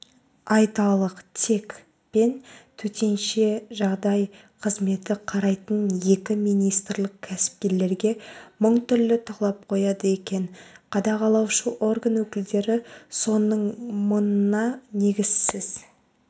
айталық тек пен төтенше жағдай қызметі қарайтын екі министрлік кәсіпкерлерге мың түрлі талап қояды екен қадағалаушы орган өкілдері соның мыңы негізсіз